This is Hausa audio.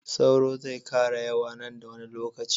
sauro zai kara yawa nan da wani lokaci